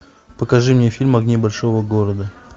покажи мне фильм огни большого города